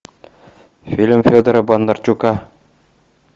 фильм федора бондарчука